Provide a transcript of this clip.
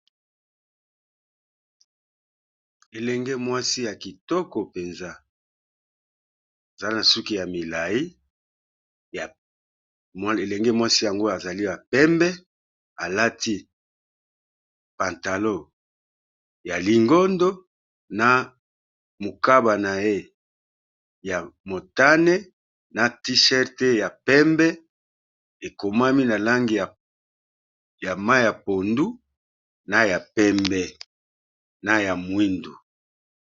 Elenge mwasi ya kitoko mpenza aza na suki ya milayi, elenge mwasi yango azali ya pembe. Alati pantalon ya lingondo, na mokaba na ye ya motane, na t-shirt ya pembe, ekomami na langi ya mayi ya pondu, na ya mwindu.